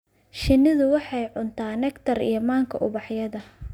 Shinnidu waxay cuntaa nectar iyo manka ubaxyada.